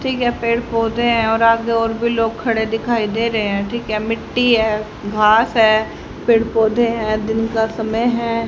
ठीक है पेड़ पौधे है और आगे और भी लोग खड़े दिखाई दे रहे हैं ठीक है मिट्टी है घास है पेड़ पौधे है दिन का समय है।